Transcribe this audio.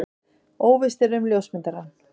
Óvíst er um ljósmyndarann.